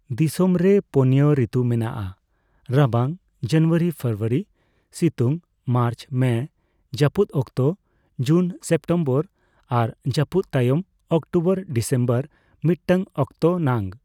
ᱫᱤᱥᱚᱢᱨᱮ ᱯᱳᱱᱭᱟ ᱨᱤᱛᱩ ᱢᱮᱱᱟᱜᱼᱟ ᱺ ᱨᱟᱵᱟᱝ (ᱡᱟᱹᱱᱩᱣᱟᱨᱤᱼᱯᱷᱮᱵᱨᱩᱣᱟᱨᱤ) ᱥᱤᱛᱩᱝ (ᱢᱟᱨᱪᱼᱢᱮ), ᱡᱟᱹᱯᱩᱫ ᱚᱠᱛᱚ (ᱡᱩᱱᱼᱥᱮᱯᱴᱮᱢᱵᱚᱨ) ᱟᱨ ᱡᱟᱹᱯᱩᱫ ᱛᱟᱭᱚᱢ (ᱚᱠᱴᱳᱵᱚᱨᱼᱰᱤᱥᱮᱢᱵᱚᱨ) ᱢᱤᱫᱴᱟᱝ ᱚᱠᱛᱚ ᱱᱟᱝ ᱾